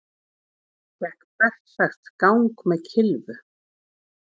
Gekk berserksgang með kylfu